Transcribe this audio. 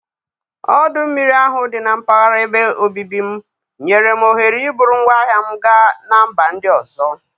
Ọdụ mmiri ahụ dị na mpaghara ebe obibi m nyere m ohere iburu ngwaahịa m gaa na mba ndị ọzọ.